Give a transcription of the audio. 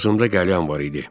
Ağzında qəlyan var idi.